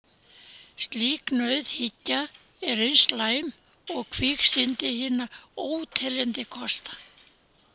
Slík nauðhyggja er eins slæm og kviksyndi hinna óteljandi kosta.